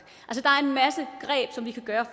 der er